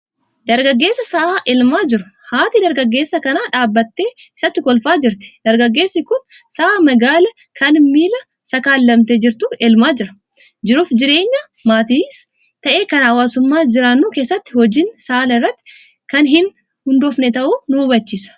Dargaggeessa sa'a elmaa jiru. Haati dargaggeessa kanaa dhaabattee isatti kolfaa jirti. Dargaggeessi kun sa'a magaala kan miila takaalamtee jirtu elmaa jira. Jiruuf jireenya maatiis ta'e kan hawaasummaa jiraannu keessatti hojiin saala irratti kan hin hundoofne ta'uu nu hubachiisa.